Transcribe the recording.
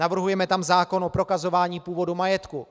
Navrhujeme tam zákon o prokazování původu majetku.